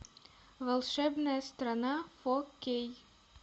волшебная страна фо кей